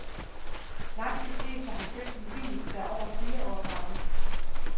Langt de fleste har købt en bil, der er over fire år gammel.,